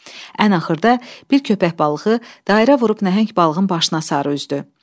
Ən axırda bir köpək balığı dairə vurub nəhəng balığın başına sarı üzdü.